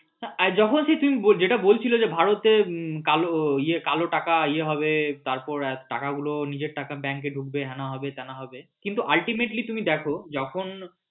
যখন তুমি হ্যাঁ জেটা বলছিলে যে ভারতে কালো টাকা ইয়ে হবে তারপর টাকাগুলো নিজের টাকা ব্যাঙ্ক এ ঢুকবে হ্যানা হবে ত্যানা হবে কিন্তু ultimately তুমি দেখো যখন